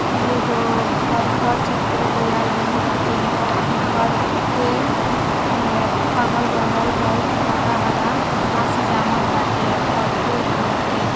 इ एगो घर क चित्र लिहल गइल बाटे। घर के अगल बगल बहुत हरा हरा घास जामल बाटे और फूल भी बाटे।